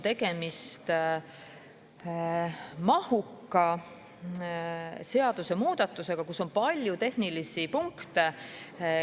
Tegemist on mahuka seadusemuudatusega, kus on palju tehnilisi punkte.